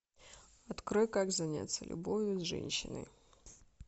открой как заняться любовью с женщиной